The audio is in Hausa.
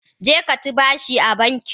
Jeka ci bashi a banki.